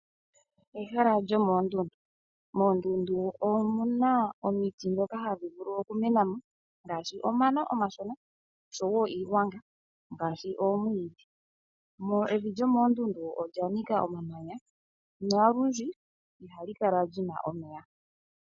Ehala lyomoondundu Moondundu omuna omiti dhoka hadhi vulu okumena mo ngaashi omano omashona noshowo iigwanga ngaashi oomwiidhi. Evi lyomoondundu olya nika omamanya nolundji ihali kala li na omeya.